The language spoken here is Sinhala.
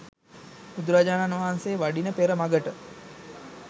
බුදුරජාණන් වහන්සෙ වඩින පෙර මඟට